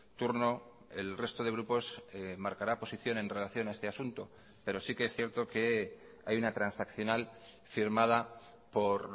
turno el resto de grupos marcará posición en relación a este asunto pero sí que es cierto que hay una transaccional firmada por